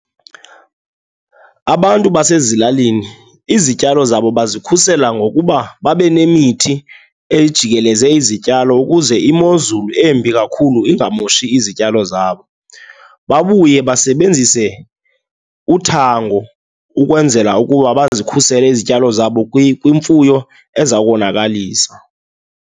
Abantu basezilalini, izityalo zabo bazikhusela ngokuba babe nemithi ejikeleze izityalo ukuze imozulu embi kakhulu ingamoshi izityalo zabo. Babuye basebenzise uthango ukwenzela ukuba bazikhusele izityalo zabo kwimfuyo ezawukonakalisa.